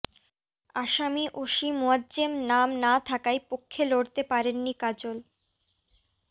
আসামি ওসি মোয়াজ্জেম নাম না থাকায় পক্ষে লড়তে পারেননি কাজল